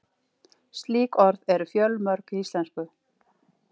Slík orð eru fjölmörg í íslensku.